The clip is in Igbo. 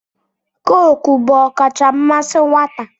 Cookuu bụ ọkacha mmasị nwata.